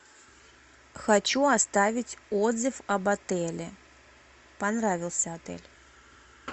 хочу оставить отзыв об отеле понравился отель